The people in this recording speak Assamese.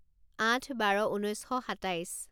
আঠ বাৰ ঊনৈছ শ সাতাইছ